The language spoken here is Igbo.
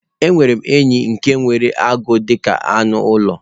Enwerem enyi nke nwere agwo dika anu ulo